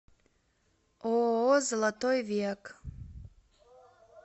ооо золотой век